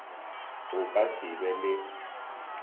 o ka se be le